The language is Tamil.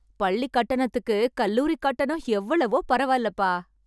பள்ளி கட்டணத்துக்கு கல்லூரி கட்டணம் எவ்வளவோ பரவால்லபா